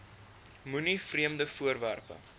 moenie vreemde voorwerpe